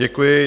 Děkuji.